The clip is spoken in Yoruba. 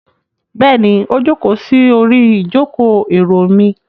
Bẹ́ẹ̀ni, ó jókòó sí orí ìjókòó-èrò mi.